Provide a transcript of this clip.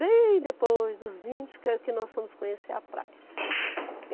Bem depois dos vinte que a que nós fomos conhecer a praia.